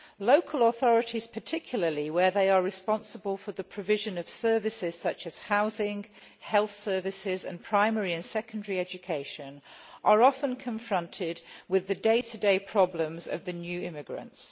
Local authorities, particularly, where they are responsible for the provision of services such as housing, health care and primary and secondary education, are often confronted with the day to day problems of the new immigrants.